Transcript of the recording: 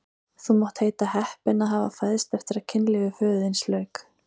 Þú mátt heita heppinn að hafa fæðst eftir að kynlífi föður þíns lauk!